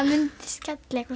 myndi skella eitthvað